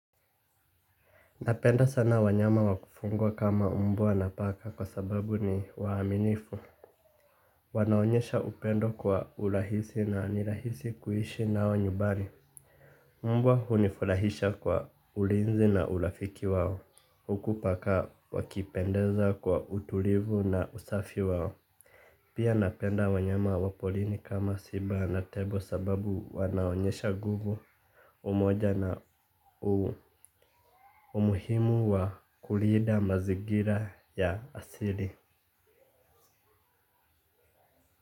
Napenda sana wanyama wakufungwa kama mbwa na paka kwa sababu ni waaminifu. Wanaonyesha upendo kwa urahisi na nirahisi kuishi nao nyubani. Mbwa hunifurahisha kwa ulinzi na urafiki wao. Hku paka wakipendeza kwa utulivu na usafi wao. Pia napenda wanyama wapolini kama simba na tembo sababu wanaonyesha nguvu umoja na umuhimu wa kulinda mazingira. Mazingira ya asili.